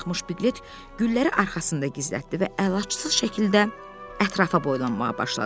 Karxmış Piqlet gülləri arxasında gizlətdi və əlacısız şəkildə ətrafa boylanmağa başladı.